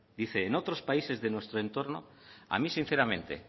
dice en otros países de nuestro entorno a mí sinceramente